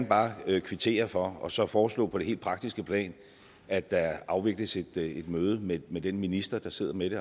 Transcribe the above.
bare gerne kvittere for og så foreslå på det helt praktiske plan at der afvikles et møde med den minister der sidder med det